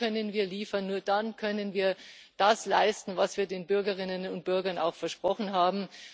Nur dann können wir liefern, nur dann können wir das leisten, was wir den Bürgerinnen und Bürgern auch versprochen haben.